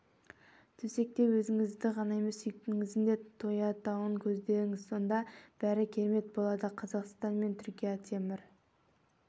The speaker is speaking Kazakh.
төсекте өзіңіздің ғана емес сүйіктіңіздің де тояттауын көздеңіз сонда бәрі керемет болады қазақстан мен түркия темір